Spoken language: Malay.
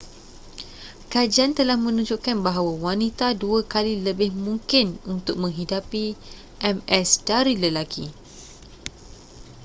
kajian telah menunjukkan bahawa wanita dua kali lebih mungkin untuk menghidapi ms dari lelaki